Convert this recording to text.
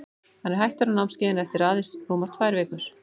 Hann er hættur á námskeiðinu eftir að aðeins rúmar tvær vikur.